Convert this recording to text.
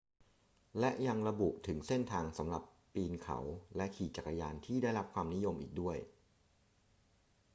และยังระบุถึงเส้นทางสำหรับปีนเขาและขี่จักรยานที่ได้รับความนิยมอีกด้วย